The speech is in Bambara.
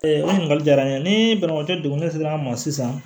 o ɲininkali jara n ye ni banabagatɔ degunnen sera an ma sisan